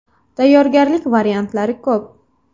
Tayyorgarlik variantlari ko‘p.